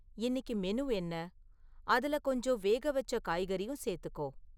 இன்னிக்கு மெனு என்ன? அதில கொஞ்சம் வேகவச்ச காய்கறியும் சேர்த்துக்கோ